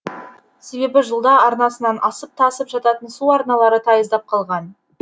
себебі жылда арнасынан асып тасып жататын су арналары тайыздап қалған